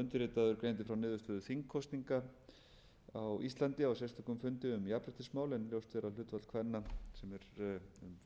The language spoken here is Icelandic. undirritaður greindi frá niðurstöðu þingkosninga á íslandi á sérstökum fundi um jafnréttismál en ljóst er að hlutfall kvenna sem er